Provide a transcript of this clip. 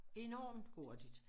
Enormt hurtigt